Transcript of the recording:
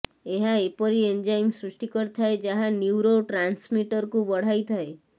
ଏହା ଏପରି ଏନଜାଇମ ସୃଷ୍ଟି କରିଥାଏ ଯାହା ନ୍ୟୁରୋଟ୍ରାନ୍ସମିଟରକୁ ବଢାଇଥାଏ